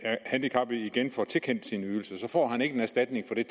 handicappede igen får tilkendt sine ydelser så får han ikke erstatning for de